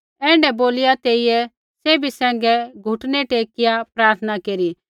ऐण्ढै बोलिया तेइयै सैभी सैंघै घुटनै टेकिआ प्रार्थना केरी